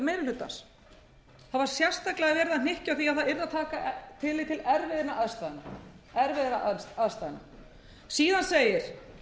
hlutans það var sérstaklega verið að hnykkja á því að það yrði að taka tillit til erfiðra aðstæðna síðan segir